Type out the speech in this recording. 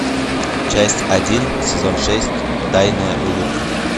часть один сезон шесть тайная улыбка